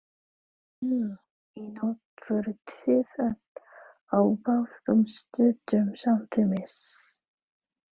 Nú í nótt voruð þið að á báðum stöðum samtímis.